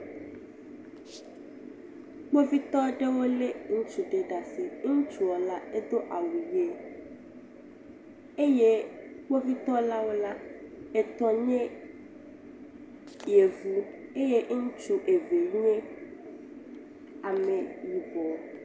Kpovitɔwo aɖewo le ŋutsu ɖe ɖe asi. Ŋutsua la Edo awu ɣi eye kpovitɔwo la, etɔ nye yevu eye ŋutsu eve nye ame yibɔ.